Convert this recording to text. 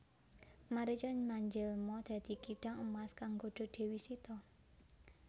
Marica manjelma dadi kidang emas kang nggodha Dewi Sita